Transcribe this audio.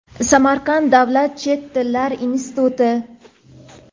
Samarqand davlat chet tillar instituti;.